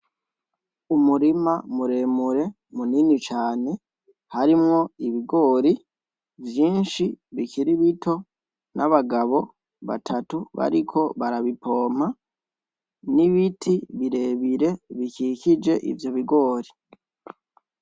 Umurima muremure munini cane harimwo ibigori vyinshi bikiri bito n'abagabo batatu bariko barabipompa n'ibiti birebire bikikije ivyo bigori.